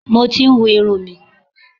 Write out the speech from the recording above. Mo ti ń hu irun mi.